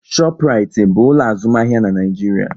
Shọpraịtị bụ ụlọ azụmahịa na Nịajiria